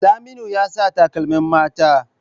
Saminu ya sa takalmin mata.